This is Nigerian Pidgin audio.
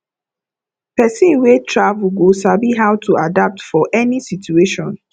person wey travel go sabi how to adapt for any situation